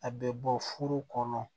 A bɛ bɔ furu kɔnɔ